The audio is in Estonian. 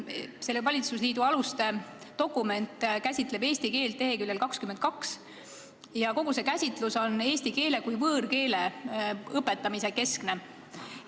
Selle valitsusliidu aluste dokument käsitleb eesti keelt leheküljel 22 ja kogu see käsitlus on eesti keele kui võõrkeele õpetamise keskne.